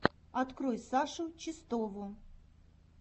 открой сашу чистову